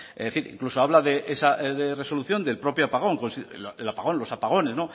es decir incluso habla esa resolución del propio apagón el apagón los apagones